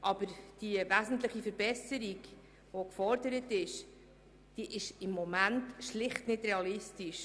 Aber die wesentliche Verbesserung, die gefordert wird, ist im Moment schlicht nicht realistisch.